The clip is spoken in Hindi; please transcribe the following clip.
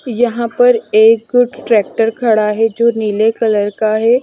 यहां पर एक ट्रैक्टर खड़ा है जो नीले कलर का है।